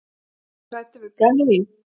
Er ég hræddur við brennivín?